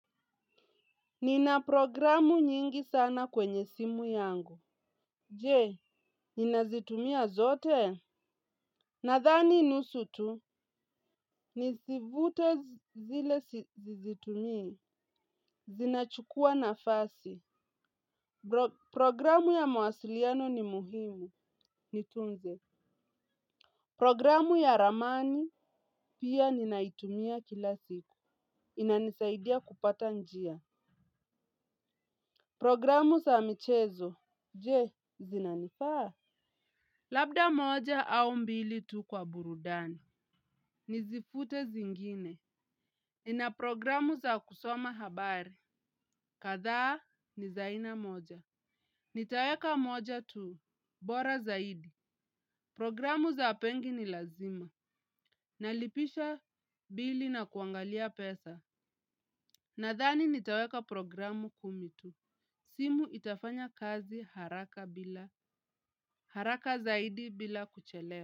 Nina programu nyingi sana kwenye simu yangu. Je, ninazitumia zote? Nadhani nusu tu nizivute zile sizitumii. Zinachukua nafasi. Programu ya mawasiliano ni muhimu. Nitunze. Programu ya ramani, pia ninaitumia kila siku. Inanisaidia kupata njia. Programu za michezo. Je, zinanifaa? Labda moja au mbili tu kwa burudani. Nizifute zingine. Ina programu za kusoma habari. Kadhaa ni za aina moja. Nitaweka moja tu. Bora zaidi. Programu za pengi ni lazima. Nalipisha bili na kuangalia pesa. Nadhani nitaweka programu kumi tu. Simu itafanya kazi haraka bila. Haraka zaidi bila kuchelewa.